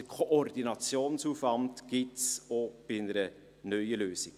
Den Koordinationsaufwand gibt es auch bei einer neuen Lösung.